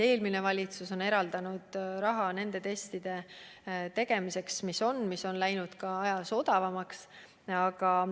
Eelmine valitsus on eraldanud raha nende testide tegemiseks, mis praegu on ja mis on läinud aja jooksul odavamaks.